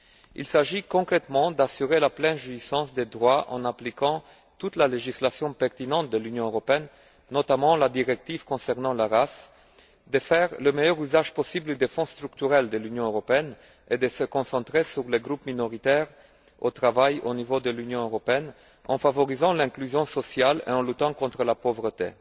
Il s'agit concrètement d'assurer la pleine jouissance des droits en appliquant toute la législation pertinente de l'Union européenne, notamment la directive concernant la race, de faire le meilleur usage possible des fonds structurels de l'Union européenne et de se concentrer sur les groupes minoritaires au travail au niveau de l'Union européenne en favorisant l'inclusion sociale et en luttant contre la pauvreté.